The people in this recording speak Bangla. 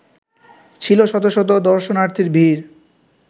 ছিল শত শত দর্শনার্থীর ভীড়